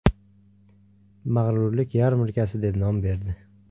Mag‘rurlik yarmarkasi” deb nom berdi.